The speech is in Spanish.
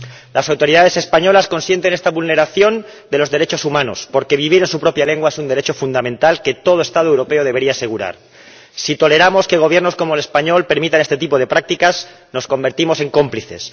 Las autoridades españolas consienten esta vulneración de los derechos humanos, porque vivir en su propia lengua es un derecho fundamental que todo Estado europeo debería asegurar. Si toleramos que Gobiernos como el español permitan este tipo de prácticas nos convertimos en cómplices.